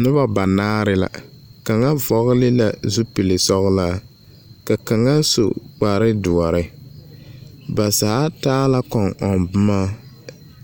Nobɔ banaare la, kaŋa vɔgele la zupilisɔgelaa, ka kaŋa so kparedoɔre. Ba zaa taa la kɔŋ-ɔŋ bomɔ